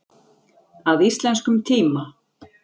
Að íslenskum tíma.